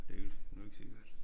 Det er nu ikke sikkert